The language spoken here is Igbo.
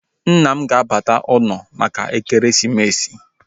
Nna m ga-abata ụlọ maka ekeresimesi